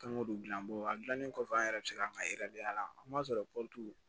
Kanko don gilan bolo a gilannen kɔfɛ an yɛrɛ bɛ se ka an ka